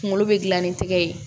Kunkolo bɛ gilan ni tɛgɛ ye